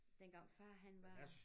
Dengang far han var